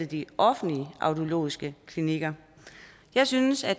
de offentlige audiologiske klinikker jeg synes at